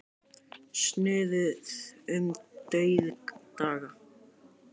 Snuðuð um dauðdaga.